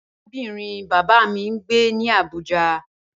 Arábìnrin bàbá mi ń gbé ní Àbújá.